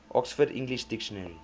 oxford english dictionary